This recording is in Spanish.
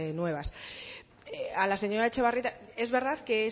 nuevas a la señora etxebarrieta es verdad que